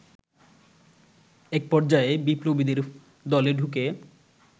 এক পর্যায়ে বিপ্লবীদের দলে ঢুকে